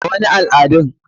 A,wani al adun.